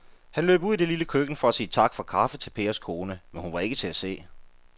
Han løb ud i det lille køkken for at sige tak for kaffe til Pers kone, men hun var ikke til at se.